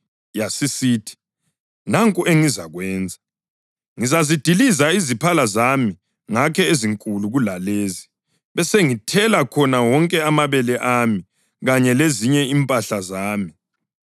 Yasisithi, ‘Nanku engizakwenza. Ngizazidiliza iziphala zami ngakhe ezinkulu kulalezi, besengithela khona wonke amabele ami kanye lezinye impahla zami.